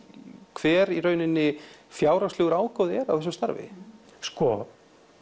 hver fjárhagslegur ágóði er af þessu starfi sko